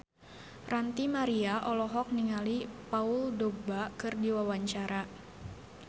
Ranty Maria olohok ningali Paul Dogba keur diwawancara